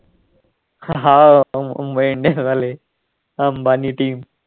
ह हाव मुंबई इंडियन्स वाले अंबानी team